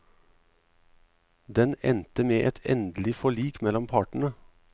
Den endte med et endelig forlik mellom partene.